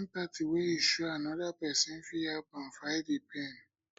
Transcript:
di empathy wey you show show anoda pesin fit help am fight di pain